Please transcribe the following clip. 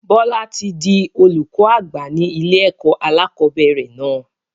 Bọlá tí di olùkọ́ àgbà ní ilé ẹ̀kọ́ alakọ̀bẹ́ẹ́rẹ̀ náà